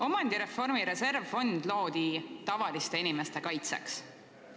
Omandireformi reservfond loodi tavaliste inimeste kaitseks.